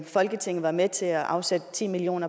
folketinget var med til at afsætte ti million